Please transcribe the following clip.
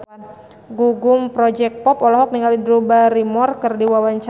Gugum Project Pop olohok ningali Drew Barrymore keur diwawancara